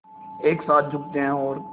एक साथ झुकते हैं और